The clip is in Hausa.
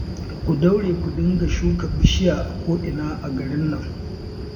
Ku daure ku dinga shuka bishiya a ko'ina a garin nan